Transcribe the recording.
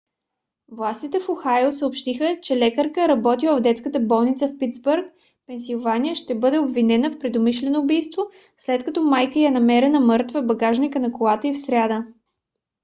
властите в охайо съобщиха че лекарка работила в детската болница в питсбърг пенсилвания ще бъде обвинена в предумишлено убийство след като майка ѝ е намерена мъртва в багажника на колата ѝ в сряда